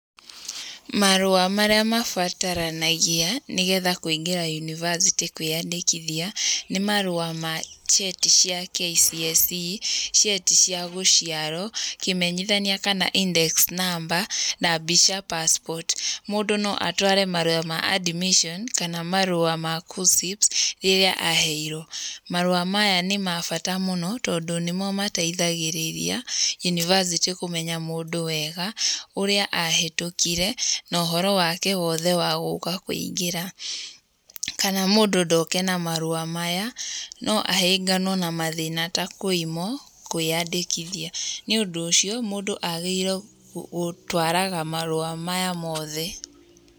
Marũa marĩa mabataranagia, nĩgetha kũingĩra yunivasĩtĩ kwĩandĩkithia nĩ marũa ma: cheti cia KCSE, cheti cia gũciarwo, kĩmenyithania kana index number, na mbica passport. Mũndũ no atware marũa ma admission kana marũa ma KUCCPS rĩrĩa aheirwo. Marũa maya nĩ ma bata mũno tondũ nĩmo mateithagĩrĩria yunivasĩtĩ kũmenya mũndũ wega, ũrĩa ahĩtũkire na ũhoro wake wothe wa gũka kũingĩra. Kana mũndũ ndoke na marũa maya no ahĩnganwo na mathĩna ta kũimwo kwĩandĩkithia. Nĩ ũndũ ũcio mũndũ agĩrĩirwo gũtwaraga marũa maya mothe.